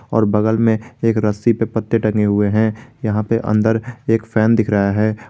और बगल मे एक रस्सी पे पत्ते टंगे हुए है यहां पे अंदर एक फैन दिख रहा है।